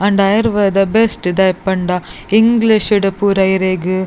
ಆಂಡ ಆಯುರ್ವೇದ ಬೆಸ್ಟ್ ದಾಯೆ ಪಂಡ ಇಂಗ್ಲೀಷ್ ಡು ಪೂರ ಇರೆಗ್--